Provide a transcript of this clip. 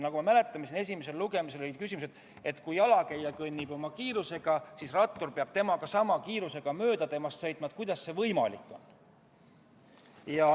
Nagu ma mäletan, oli siin esimesel lugemisel küsimus, et kui jalakäija kõnnib oma kiirusega ja rattur peab temast sama kiirusega mööda sõitma, siis kuidas see võimalik on.